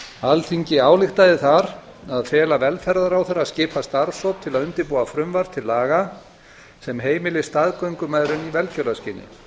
alþingi ályktaði þar að fela velferðarráðherra að skipa starfshóp til að undirbúa frumvarp til laga sem heimili staðgöngumæðrun í velgjörðarskyni